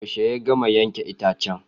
Yaushe ya gama yanke itacen?